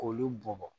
K'olu bɔn bɔn